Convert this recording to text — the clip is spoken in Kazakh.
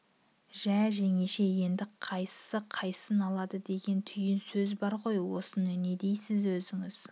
жә жеңеше енді қайсысы қайсысын алады деген түйін сөз бар ғой осыны не дейсіз өзің не